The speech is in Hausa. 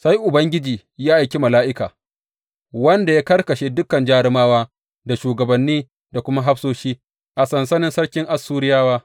Sai Ubangiji ya aiki mala’ika, wanda ya karkashe dukan jarumawa da shugabanni da kuma hafsoshi a sansanin sarkin Assuriyawa.